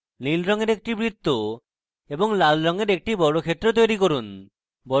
নীল রঙের একটি বৃত্ত এবং লাল রঙের একটি বর্গক্ষেত্র তৈরী করুন